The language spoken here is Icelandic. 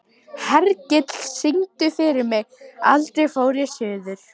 Hergill, syngdu fyrir mig „Aldrei fór ég suður“.